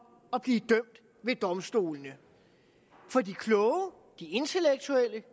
at blive dømt ved domstolene for de kloge de intellektuelle